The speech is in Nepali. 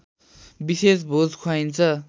विशेष भोज खुवाइन्छ